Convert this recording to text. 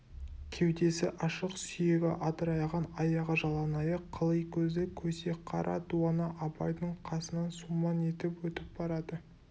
кеудесі ашық сүйегі адырайған аяғы жалаңаяқ қыли көзді көсе қара дуана абайдың қасынан сумаң етіп өтіп барады